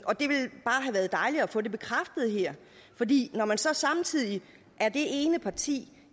været dejligt at få det bekræftet her for de er så samtidig det ene parti